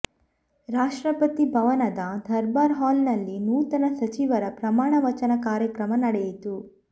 ರಾಷ್ಟ್ರಪತಿ ಭವನದ ದರ್ಬಾರ್ ಹಾಲ್ನಲ್ಲಿ ನೂತನ ಸಚಿವರ ಪ್ರಮಾಣ ವಚನ ಕಾರ್ಯಕ್ರಮ ನಡೆಯಿತು